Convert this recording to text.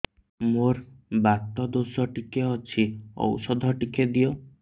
ମୋର୍ ବାତ ଦୋଷ ଟିକେ ଅଛି ଔଷଧ ଟିକେ ଦିଅ